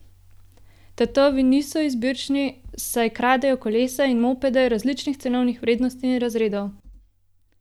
Tatovi niso izbirčni, saj kradejo kolesa in mopede različnih cenovnih vrednosti in razredov.